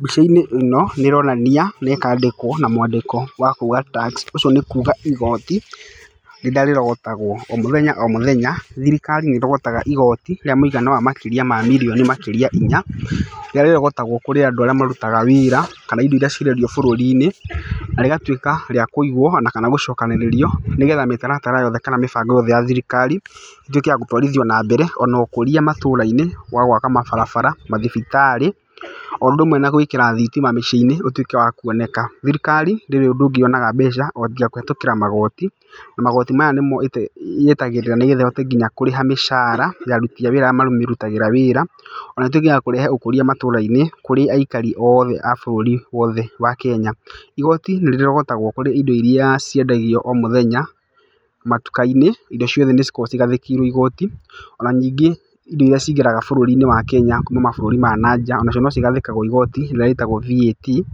Mbica-inĩ ĩno, nĩ ĩronania na ĩkandĩkwa na mwandĩko w akuga TAX, ũguo nĩ kuga ihooti rĩrĩa rĩrogotagwo o mũthenya o mũthenya. Thirikari nĩ ĩrogotaga igooti rĩa mũigano wa makĩria mirioni makĩria inya, rĩrĩa rĩrogotagwo kũrĩ andũ arĩa marutaga wĩra kana indo irĩa cirendio bũrũri-inĩ na rĩgatuĩka rĩa kũigwo na kana gũcokanĩrĩrio nĩgetha mĩtaratara yothe kana mĩbango yothe ya thirikari ĩtuĩke ya gũtũarithio na mbere. Ona ũkũria matũra-inĩ wa gwaka mabarabara, mathibitarĩ o ũndũ ũmwe na gwĩkĩra thitima mĩciĩ-inĩ ũtuĩke wa kuoneka. Thirikari ndĩrĩ ũndũ ũngĩ yonaga mbeca o tiga kũhĩtũkĩra magooti, na magooti maya nĩmo yetagĩrĩra nĩgetha ĩhote nginya kũrĩha mĩcara ya aruti a wĩra arĩa mamĩrutagĩra wĩra. Ona ĩtuĩke ya kũrehe ũkũria matũra-inĩ kũrĩ aikari othe a bũrũri wothe wa Kenya. Igooti nĩ rĩrĩrogotagwoo kũrĩ indo irĩa ciendagio o mũthenya matuka-inĩ, indo ciothe nĩ cikoragwo igathĩkĩirwo igooti. Ona ningĩ indo irĩa cingĩraga bũrũri-inĩ wa Kenya kuma mabũrũri ma na nja onacio no cigathĩkagwo igooti rĩrĩa rĩtagwo VAT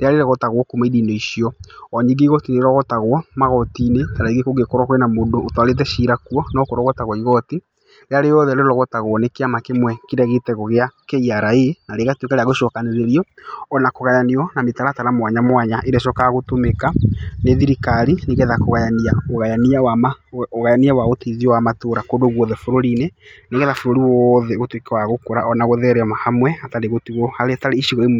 rĩrĩa rĩrogotagwo kuma indo-inĩ icio. O ningĩ igooti nĩ rĩrogotagwo magooti-inĩ ta rĩngĩ kũngĩkorwo kwĩna mũndũ ũtwarĩte cira kuo no kũrogotagwo igooti. Rĩrĩa rĩothe rĩrogotagwo nĩ kĩama kĩmwe kĩrĩa gĩtagwo gĩa KRA na rĩgatuĩka rĩa gũcokanĩrĩrio ona kũgayanio na mĩtaratara mwanya mwanya, ĩrĩa ĩcokaga gũtũmĩka nĩ thirikari nĩgetha kũgayania ũgayania wa ũteithio wa matũra kũndũ guothe bũrũri-inĩ. Nigetha bũrũri wothe ũtuĩke wa gũkũra ona gũtherema hamwe hatarĩ gũtigwo harĩa hatarĩ icigo imwe.